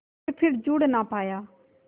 के फिर जुड़ ना पाया